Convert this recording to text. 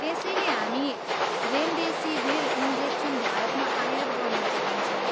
त्यसैले हामी remdesivir injection भारतमा आयात गर्न चाहन्छौँ।